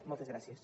moltes gràcies